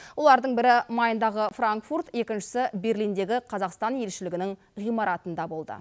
олардың бірі майндағы франкфурт екіншісі берлиндегі қазақстан елшілігінің ғимаратында болды